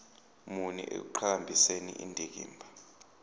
muni ekuqhakambiseni indikimba